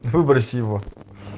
выброси его